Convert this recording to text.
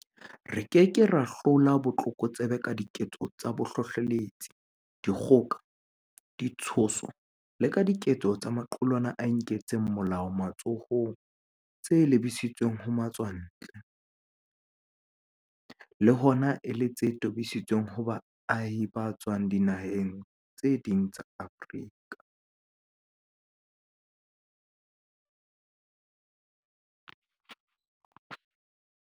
Re ke ke ra hlola botlokotsebe ka diketso tsa bohlohleletsi, dikgoka, ditshoso le ka diketso tsa maqulwana a inkelang molao matsohong tse lebisitsweng ho matswantle, le hona e le tse tobisitsweng ho baahi ba tswang dinaheng tse ding tsa Afrika.